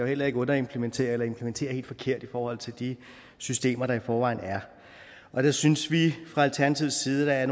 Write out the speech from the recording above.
heller ikke underimplementere eller implementere helt forkert i forhold til de systemer der i forvejen er der synes vi fra alternativets side at